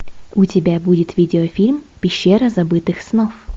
у тебя будет видеофильм пещера забытых снов